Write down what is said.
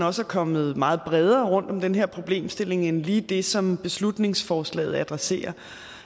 også kommet meget bredere rundt om den her problemstilling end lige det som beslutningsforslaget adresserer